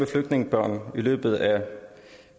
flygtningebørn i løbet af